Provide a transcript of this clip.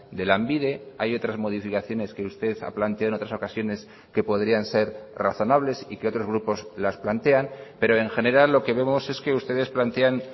de lanbide hay otras modificaciones que usted ha planteado en otras ocasiones que podrían ser razonables y que otros grupos las plantean pero en general lo que vemos es que ustedes plantean